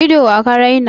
Idon wa ka raina?